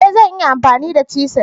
E! Zan iya amfani da chisel.